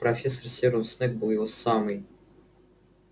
профессор северус снегг был его самый